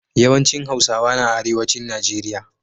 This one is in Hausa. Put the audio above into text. Yawan cin hausawa na arewacin nigeria